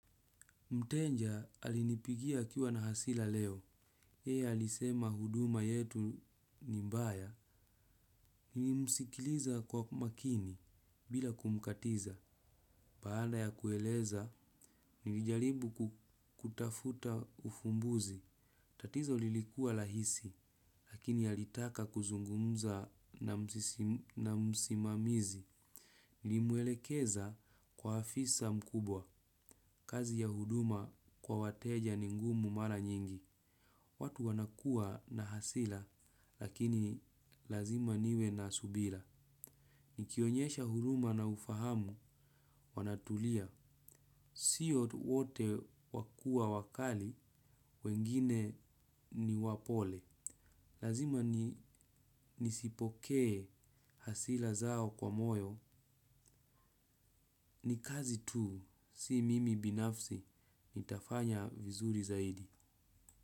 Mtenja alinipigia akiuwa na hasila leo. Hei alisema huduma yetu ni mbaya. Nilimsikiliza kwa makini bila kumkatiza. Baada ya kueleza, nilijaribu kutafuta ufumbuzi. Tatizo lilikuwa rahisi lakini alitaka kuzungumza na msimamizi nilimwelekeza kwa afisa mkubwa. Kazi ya huduma kwa wateja ni ngumu mara nyingi. Watu wanakuwa na hasira lakini lazima niwe na subira. Nikionyesha huruma na ufahamu wanatulia. Sio wote wakua wakali, wengine ni wapole. Lazima nisipokee hasira zao kwa moyo. Ni kazi tu, si mimi binafsi, nitafanya vizuri zaidi.